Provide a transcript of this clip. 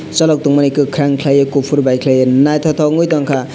chalok tongmani kwkhwrang khlaiwui kuphur bai khlawui naithotok ungwi tongkha.